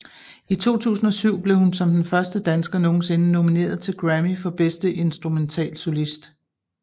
I 2007 blev hun som den første dansker nogensinde nomineret til en Grammy for bedste instrumentalsolist